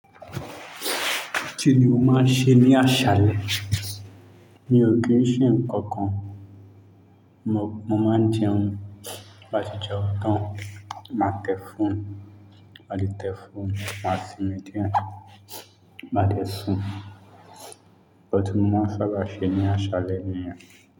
Kìní ò máa ń ṣe ní àṣálẹ́. Mi ò kí ń ṣe nǹkan kan. Mo máa ń jẹun, bi baàá tì jẹun tán. Máa tẹ́ phone, á le tẹ́ phone. Má sìnmi díẹ̀, má dẹ́ sùn. Nkan ti mọ́ ma n sábà ṣe ní àṣálẹ́ mi.